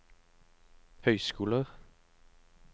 høyskoler